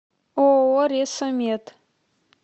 ооо ресо мед